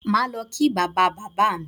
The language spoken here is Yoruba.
Màá lọ kí bàbá bàbá mi